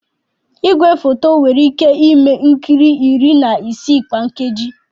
Igwefoto nwere ike ime nkiri iri na isii kwa nkeji.